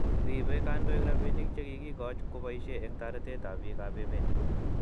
Rebei kandoik rabinik che kikioch kobaishe eng' taretet ab biik ab emet